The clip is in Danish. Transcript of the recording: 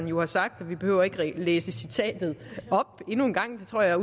jo sagt og vi behøver ikke at læse citatet op endnu en gang det tror jeg